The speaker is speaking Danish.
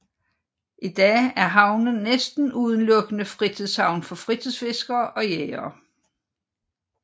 I dag er havnen næsten udelukkende fritids havn for fritidsfiskere og jægere